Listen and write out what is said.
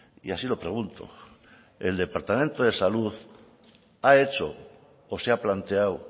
y así lo pregunto el departamento de salud ha hecho o se ha planteado